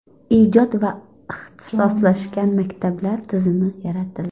ijod va ixtisoslashgan maktablar tizimi yaratildi.